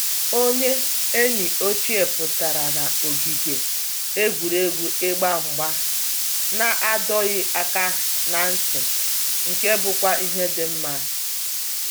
Onye enyi ochie pụtara na ogige egwuregwu ịgba mgba na adọghị aka na ntị, nke bụkwa ihe dị mma